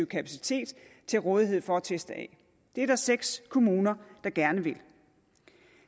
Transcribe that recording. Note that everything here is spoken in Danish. kapacitet til rådighed for at teste det er der seks kommuner der gerne vil